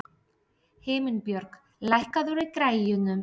Himinbjörg, lækkaðu í græjunum.